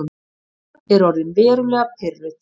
Eva er orðin verulega pirruð.